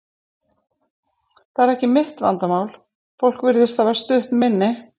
Það er ekki mitt vandamál, fólk virðist hafa stutt minni.